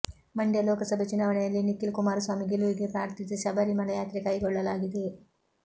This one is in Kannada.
ಮಂಡ್ಯ ಲೋಕಸಭೆ ಚುನಾವಣೆಯಲ್ಲಿ ನಿಖಿಲ್ ಕುಮಾರಸ್ವಾಮಿ ಗೆಲುವಿಗೆ ಪ್ರಾರ್ಥಿಸಿ ಶಬರಿ ಮಲೆಯಾತ್ರೆ ಕೈಗೊಳ್ಳಲಾಗಿದೆ